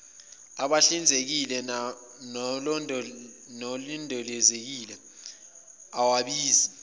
ahlanzekile nalondekile awabizi